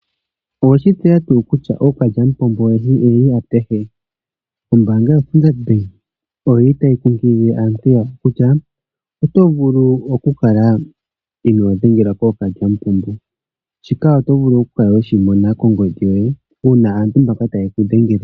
Owe shi tseya tuu kutya ookalyamupombo oyendji oye li apehe? Ombaanga yoStandard Bank oyi li tayi kunkilile aantu yawo kutya oto vulu okukala inoo dhengelwa kookalyamupombo. Shika oto vulu okukala we shi mona kongodhi yoye uuna aantu mbaka taye ku dhengele.